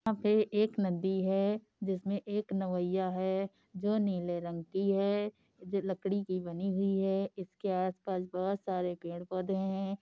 यहाँ पे एक नदी है। जिस में एक नवाइया है जो नील रंग की है जो लकड़ी की बनी हुए है। इसके आस पास बहोत सारे पेड़ पौधे है ।